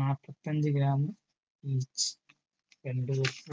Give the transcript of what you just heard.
നാല്പത്തഞ്ചു grameach